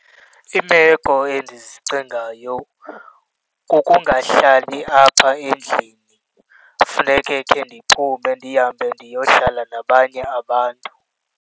Iimeko endizicingayo kukungahlali apha endlini, funeke ke ndiphume ndihambe ndiyohlala nabanye abantu.